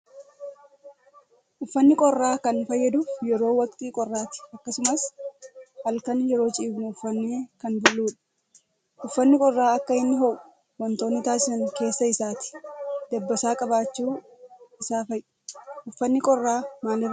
Uffanni qorraa kan fayyaduuf yeroo waqtii qorraatti akkasumas halkan yeroo ciifnu uffannee kan bulludha. Uffanni qorraa akka inni ho'u wantoonni taasisan keessa isaatii dabbasaa qabaachuu isaa fa'i. Uffanni qorraa maalirraa hojjatama?